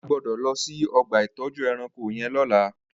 À gbọdọ lọ si ọgba itọjú ẹ̀rãnkó yèn lọ̀lá